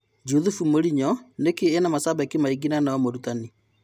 Juthubu Mũrinyo: Nĩkĩĩ ena-macambĩki maingĩ na no-mũrutani?